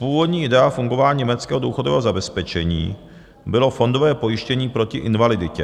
Původní idea fungování německého důchodového zabezpečení bylo fondové pojištění proti invaliditě.